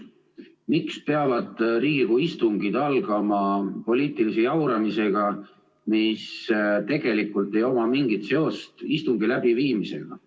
Miks peavad Riigikogu istungid algama poliitilise jauramisega, millel tegelikult ei ole mingit seost istungi läbiviimisega?